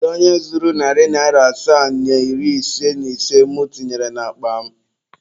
Kedu onye zuru narị asaa na iri ise na ise mụ tinyere n'akpa m?